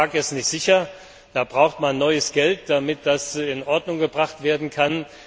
Der Sarkophag ist nicht sicher, da braucht man neue Mittel, damit das in Ordnung gebracht werden kann.